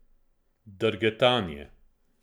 Drgetanje.